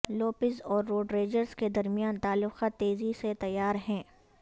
Lopez اور Rodriguez کے درمیان تعلقات تیزی سے تیار ہیں